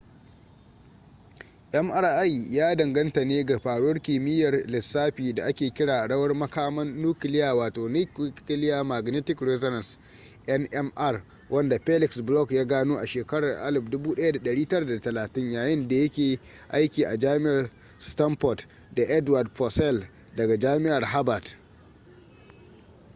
mri ya danganta ne ga faruwar kimiyyar lissafi da ake kira rawar makaman nukiliya wato nuclear magnetic resonance nmr wanda felix bloch ya gano a shekarun 1930 yayin da ya ke aiki a jami’ar stanford da edward purcell daga jami’ar harvard